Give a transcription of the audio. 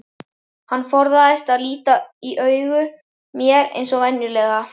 Hann forðaðist að líta í augu mér eins og venjulega.